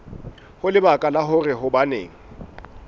ho lebaka la hore hobaneng